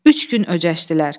Üç gün öcəşdilər.